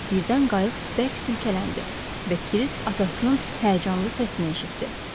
Birdən qayıq bərk silkələndi və Krisk atasının həyəcanlı səsini eşitdi.